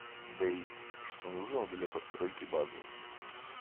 дейз что нужно для постройки базы